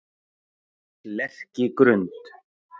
Lerkigrund